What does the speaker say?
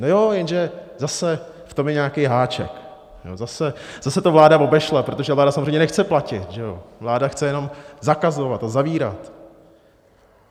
No jo, jenže zase v tom je nějaký háček, zase to vláda obešla, protože vláda samozřejmě nechce platit, že jo, vláda chce jenom zakazovat a zavírat.